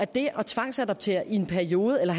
det at tvangsadoptere i en periode eller